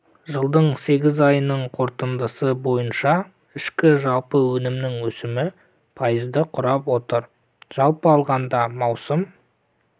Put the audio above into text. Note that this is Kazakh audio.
жылдың сегіз айының қорытындысы бойынша ішкі жалпы өнімнің өсімі пайызды құрап отыр жалпы алғанда маусым